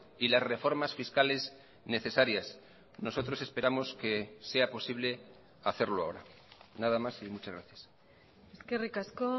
y las reformas fiscales necesarias nosotros esperamos que sea posible hacerlo ahora nada más y muchas gracias eskerrik asko